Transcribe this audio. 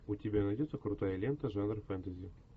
у тебя найдется крутая лента жанра фэнтези